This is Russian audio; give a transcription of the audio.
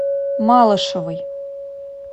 малышевой